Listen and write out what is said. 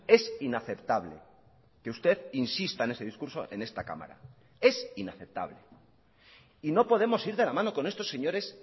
es inaceptable que usted insista en ese discurso en esta cámara es inaceptable y no podemos ir de la mano con estos señores